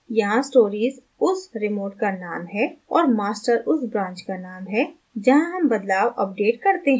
यहाँ stories उस remote का name है और master उस branch का name है जहाँ हम बदलाव अपडेट करते हैं